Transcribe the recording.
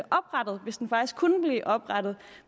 oprettet